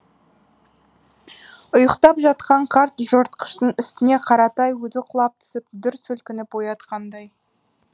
ұйықтап жатқан қарт жыртқыштың үстіне қаратай өзі құлап түсіп дүр сілкінтіп оятқандай